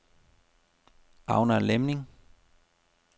Agner Lemming